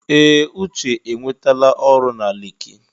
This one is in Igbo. Ee! Uche enwetala ọrụ na Leki.